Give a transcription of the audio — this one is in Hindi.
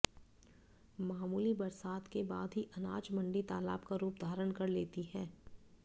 मामूली बरसात के बाद ही अनाज मंडी तालाब का रूप धारण कर लेती है